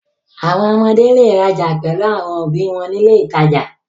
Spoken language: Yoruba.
Àwọn ọmọdé le rajà pẹ̀lú àwọn òbí wọn ní ilé-ìtajà.